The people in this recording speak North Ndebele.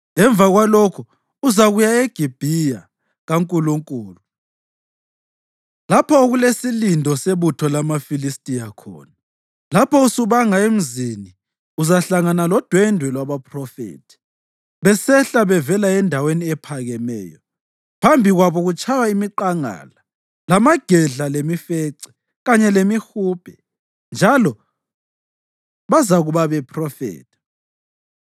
Emva kwalokho, uzakuya eGibhiya kaNkulunkulu lapho okulesilindo sebutho lamaFilistiya khona. Lapho usubanga emzini, uzahlangana lodwendwe lwabaphrofethi besehla bevela endaweni ephakemeyo, phambi kwabo kutshaywa imiqangala lamagedla lemifece kanye lemihubhe, njalo bazakuba bephrofetha.